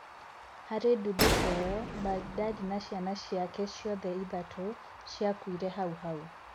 Harĩ ndũthũko ĩyo, Mbagidad na ciana ciake ciothe ithatũ ciakuire hau hau.